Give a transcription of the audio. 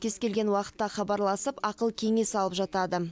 кез келген уақытта хабарласып ақыл кеңес алып жатады